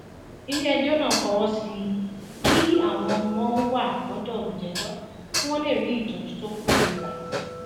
iléẹjọ náà fọwọ sí i kí àwọn ọmọ wà lọdọ olùjẹjọ kí wọn lè rí ìtọjú tó péye gbà